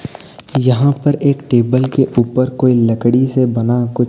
यहां पर एक टेबल के ऊपर कोई लकड़ी से बना कु--